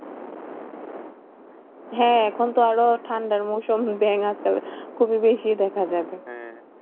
হ্যাঁ এখন তো আরো ঠান্ডার মৌসুম ব্যাঙ আর তবে খুবই বেশি দেখা যাবে।